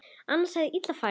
Annars hefði illa farið.